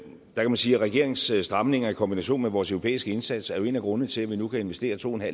man sige at regeringens stramninger i kombination med vores europæiske indsats er en af grundene til at vi nu kan investere to